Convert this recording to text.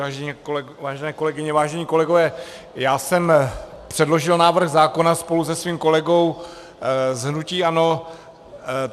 Vážené kolegyně, vážení kolegové, já jsem předložil návrh zákona spolu se svým kolegou z hnutí ANO.